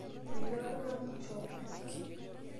Metii oltung'ani choo.